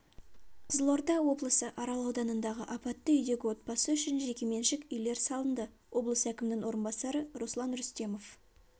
қызылорда облысы арал ауданындағы апатты үйдегі отбасы үшін жекеменшік үйлер салынды облыс әкімінің орынбасары руслан рүстемов